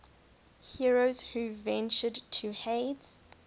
heroes who ventured to hades